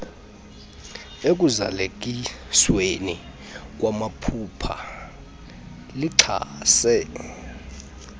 ekuzalisekisweni kwamaphulo lixhase